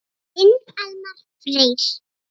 Þinn Elmar Freyr.